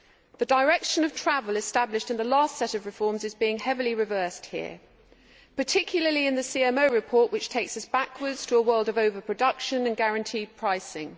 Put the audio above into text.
The direction of travel established in the last set of reforms is being heavily reversed here, particularly in the CMO report which takes us backwards to a world of overproduction and guaranteed pricing.